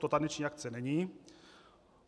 To taneční akce není.